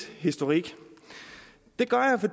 historik